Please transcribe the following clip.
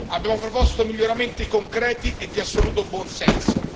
Abbiamo proposto miglioramenti concreti e di assoluto buonsenso.